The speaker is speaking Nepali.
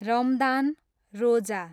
रमदान, रोजा